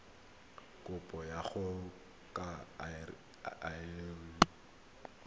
kabo go ya ka lrad